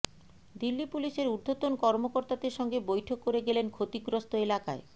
দিল্লি পুলিশের উর্ধ্বতন কর্মকর্তাদের সঙ্গে বৈঠক করে গেলেন ক্ষতিগ্রস্থ এলাকায়